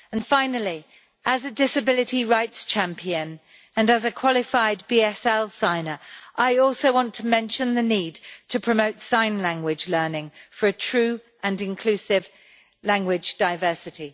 Finally, as a disability rights champion and as a qualified BSL signer, I also want to mention the need to promote sign language learning for a true and inclusive language diversity.